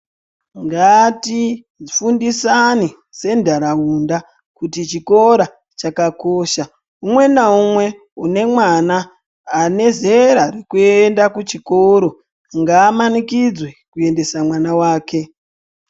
Ngatifundisane sentaraunda kuti chikora chakakosha umwe naumwe une mwana ane zera rekuenda kuchikoro ngaamanikidzwe kuendesa mwana wake.